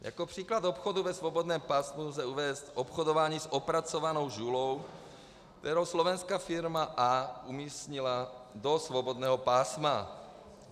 Jako příklad obchodu ve svobodném pásmu lze uvést obchodování s opracovanou žulou, kterou slovenská firma A umístila do svobodného pásma.